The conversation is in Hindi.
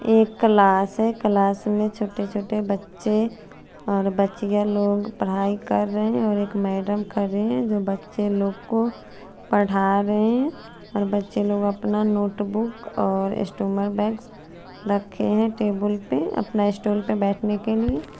एक क्लास है क्लास में छोटे छोटे बच्चे और बचिया लोग पड़ाई कर रहे है और एक मैंडम खरी है जो बच्चे लोग को पड़ारे और बच्चे लोग अपना नोट बुक और स्टूमर बेग्स रखे है टेबल पे आपने स्टूल पे बेटने के लिए --